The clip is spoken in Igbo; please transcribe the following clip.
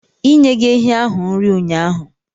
Ị nyeghị ehi ahu nri ụnyahụ?